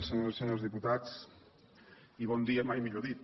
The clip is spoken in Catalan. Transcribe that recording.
senyores i senyors diputats bon dia mai millor dit